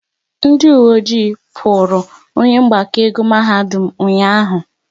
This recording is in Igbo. Ndị uwe ọjị kpụrụru onye mgbakọ ego mahadum ụnyaahụ